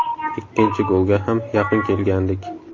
Ikkinchi golga ham yaqin kelgandik.